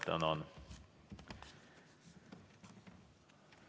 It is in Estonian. Tänan!